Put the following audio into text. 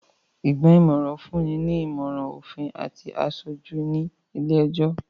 Ìgban-nímọ̀ràn fún ni ìmọ̀ràn òfin àti aṣojú ní ilé-ẹjọ̀